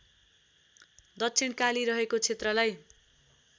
दक्षिणकाली रहेको क्षेत्रलाई